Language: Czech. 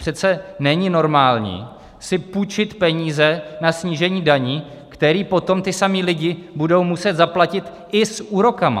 Přece není normální si půjčit peníze na snížení daní, které potom ti samí lidé budou muset zaplatit i s úroky.